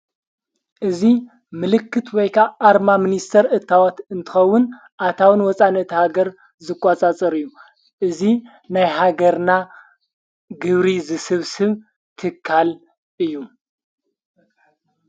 እዙ ምልክት ወይካ ኣርማ ምንስተር እታዋት እንትኸውን ኣታውን ወፃነ እታሃገር ዝቋጻጽር እዩ እዙ ናይ ሃገርና ግብሪ ዝስብ ስብ ትካል እዩ።